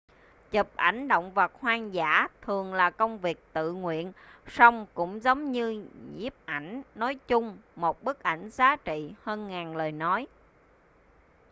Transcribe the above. chụp ảnh động vật hoang dã thường là công việc tự nguyện song cũng giống như nhiếp ảnh nói chung một bức ảnh giá trị hơn ngàn lời nói